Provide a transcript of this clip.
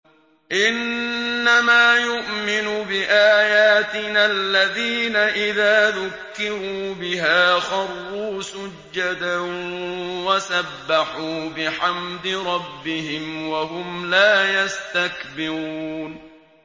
إِنَّمَا يُؤْمِنُ بِآيَاتِنَا الَّذِينَ إِذَا ذُكِّرُوا بِهَا خَرُّوا سُجَّدًا وَسَبَّحُوا بِحَمْدِ رَبِّهِمْ وَهُمْ لَا يَسْتَكْبِرُونَ ۩